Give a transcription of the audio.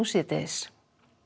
síðdegis